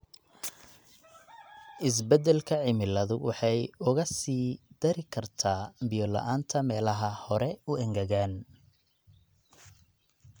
Isbeddelka cimiladu waxay uga sii dari kartaa biyo-la'aanta meelaha hore u engegan.